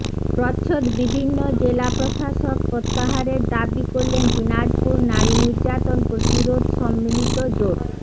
প্রচ্ছদ বিভিন্নজেলা জেলা প্রশাসক প্রত্যাহারের দাবী করলেন দিনাজপুর নারী নির্যাতন প্রতিরোধ সম্মিলিত জোট